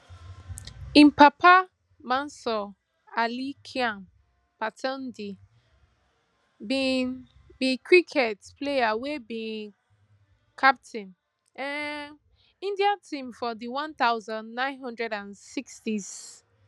im papa mansoor ali khan pataudi bin be cricket player wey bin captain um india team for di one thousand, nine hundred and sixtys